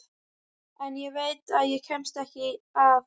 En ég veit að ég kemst ekki að.